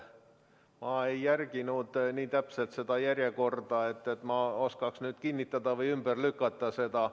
Ma ei jälginud nii täpselt seda järjekorda, et oskaksin nüüd seda kinnitada või ümber lükata.